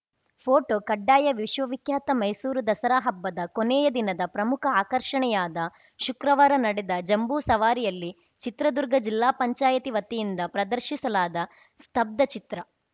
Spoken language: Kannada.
ಫೋಟೋ ಕಡ್ಡಾಯ ವಿಶ್ವವಿಖ್ಯಾತ ಮೈಸೂರು ದಸರಾ ಹಬ್ಬದ ಕೊನೆಯ ದಿನದ ಪ್ರಮುಖ ಆಕರ್ಷಣೆಯಾದ ಶುಕ್ರವಾರ ನಡೆದ ಜಂಬೂಸವಾರಿಯಲ್ಲಿ ಚಿತ್ರದುರ್ಗ ಜಿಲ್ಲಾ ಪಂಚಾಯಿತಿ ವತಿಯಿಂದ ಪ್ರದರ್ಶಿಸಲಾದ ಸ್ತಬ್ದ ಚಿತ್ರ